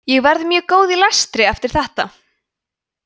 ég verð mjög góð í lestri eftir þetta